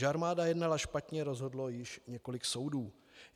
Že armáda jednala špatně, rozhodlo již několik soudů.